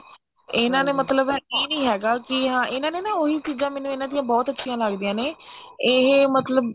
ਇਹਨਾ ਨੇ ਮਤਲਬ ਇਹ ਨਹੀਂ ਹੈਗਾ ਕਿ ਹਾਂ ਇਹਨਾ ਨੇ ਨਾ ਉਹੀ ਚੀਜਾਂ ਇਹਨਾ ਦੀਆਂ ਬਹੁਤ ਅੱਛੀਆਂ ਲੱਗਦੀਆਂ ਨੇ ਇਹ ਮਤਲਬ